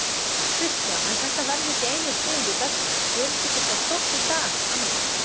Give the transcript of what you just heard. Kristján: En þetta verða ekki einu tíðindi dagsins, gerist ekki eitthvað stórt í dag annað?